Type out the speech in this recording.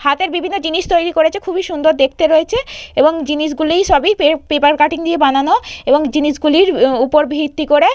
হাতের বিভিন্ন জিনিস তৈরি করেছে খুবই সুন্দর দেখতে রয়েছে এবং জিনিসগুলি সবই পে পেপার কাটিং দিয়ে বানানো এবং জিনিসগুলির ওপর ভিত্তি করে।